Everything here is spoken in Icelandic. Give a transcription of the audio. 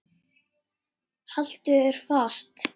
Haltu þér fast.